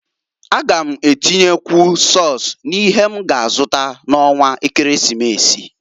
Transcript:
A gam atinyekwu sọs n'ihe m ga azụta n'ọnwa ekeresimesi.